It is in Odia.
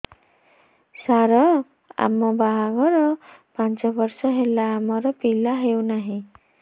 ସାର ଆମ ବାହା ଘର ପାଞ୍ଚ ବର୍ଷ ହେଲା ଆମର ପିଲା ହେଉନାହିଁ